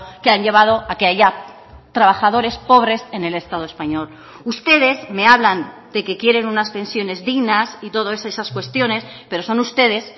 que han llevado a que haya trabajadores pobres en el estado español ustedes me hablan de que quieren unas pensiones dignas y todas esas cuestiones pero son ustedes